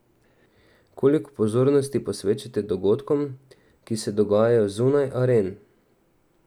Koliko pozornosti posvečate dogodkom, ki se dogajajo zunaj aren?